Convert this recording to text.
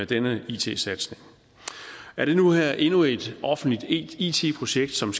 denne it satsning er det her endnu et offentligt it projekt som